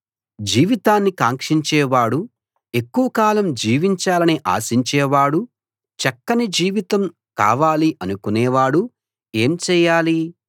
జీవితాన్ని కాంక్షించేవాడు ఎక్కువ కాలం జీవించాలని ఆశించే వాడు చక్కని జీవితం కావాలి అనుకునేవాడు ఏం చేయాలి